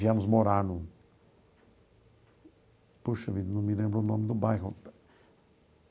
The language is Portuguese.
Viemos morar no... Puxa vida, não me lembro o nome do bairro.